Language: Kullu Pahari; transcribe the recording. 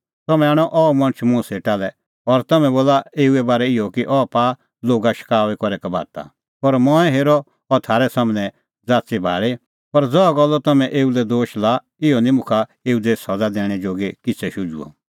तम्हैं आणअ अह मणछ मुंह सेटा लै और तम्हैं बोला एऊए बारै इहअ कि अह पाआ लोगा शकाऊई करै कबाता पर मंऐं हेरअ अह थारै सम्हनै ज़ाच़ीभाल़ी पर ज़हा गल्लो तम्हैं एऊ लै दोश लाअ इहअ निं मुखा एऊ दी सज़ा दैणैं जोगी किछ़ै शुझुअ